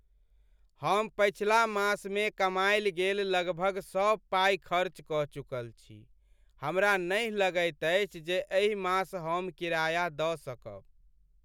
हम पछिला मासमे कमायल गेल लगभग सब पाइ खर्च कऽ चुकल छी। हमरा नहि लगैत अछि जे एहि मास हम किराया दऽ सकब।